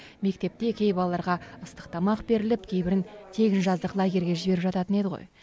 мектепте кей балаларға ыстық тамақ беріліп кейбірін тегін жаздық лагерьге жіберіп жататын еді ғой